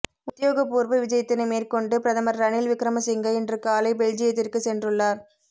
உத்தியோகப்பூர்வ விஜயத்தினை மேற்கொண்டு பிரதமர் ரணில் விக்ரமசிங்க இன்று காலை பெல்ஜியத்திற்கு சென்றுள்ளார்